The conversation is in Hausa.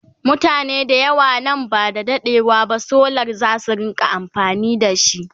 mutane da yawa nan ba da daɗewa ba solar zasu rinka amfani da shi